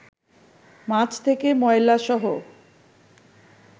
মাছ থেকে ময়লাসহ